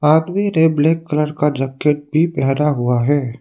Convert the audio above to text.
आदमी ने black colour का जैकेट भी पहना हुआ है।